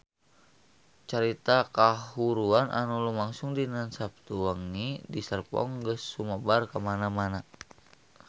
Carita kahuruan anu lumangsung dinten Saptu wengi di Serpong geus sumebar kamana-mana